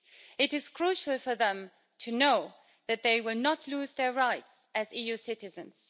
It is crucial for them to know that they will not lose their rights as EU citizens.